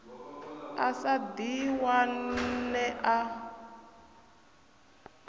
a sa ḓi wane a